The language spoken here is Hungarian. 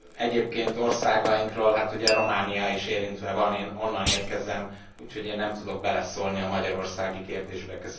Egyébként országainkról annyit, hogy ugye Románia is érintve van, én onnan érkezem, úgyhogy én nem tudok beleszólni a magyarországi kérdésbe.